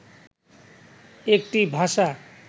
একটি ভাষা